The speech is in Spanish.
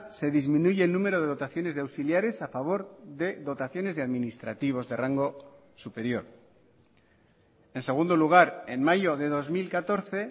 se disminuye el número de dotaciones de auxiliares a favor de dotaciones de administrativos de rango superior en segundo lugar en mayo de dos mil catorce